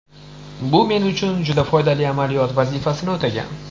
Bu men uchun juda foydali amaliyot vazifasini o‘tagan.